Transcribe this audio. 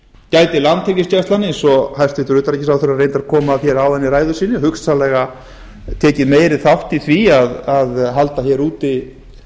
gæti landhelgisgæslan eins og hæstvirtur utanríkisráðherra reyndar kom að hér áðan í ræðu sinni hugsanlega tekið meiri þátt í að halda hér úti